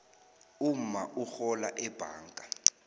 umma urhola ebhanga